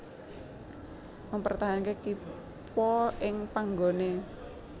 Mpertahanke kippa ing panggone